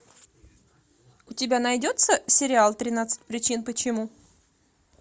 у тебя найдется сериал тринадцать причин почему